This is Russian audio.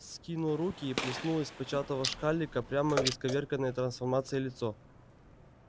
скинул руки и плеснул из початого шкалика прямо в исковерканное трансформацией лицо